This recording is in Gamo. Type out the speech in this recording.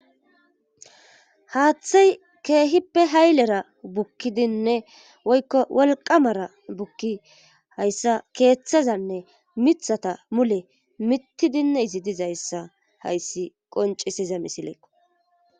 Haaththay keehippe haylera bukkidinne woykko wolqamara bukki hayssa keeththazanne mithata mule mitidinne izi dizayssa hayssi qoncisiza misilekko.